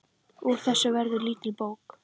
Úr þessu verður lítil bók.